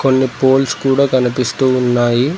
ముందు పోల్స్ కూడా కనిపిస్తూ ఉన్నాయి.